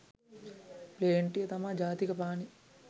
ප්ලේන්ටිය තමා ජාතික පානේ